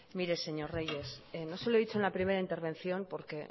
mire señor reyes no se lo he dicho en la primera intervención porque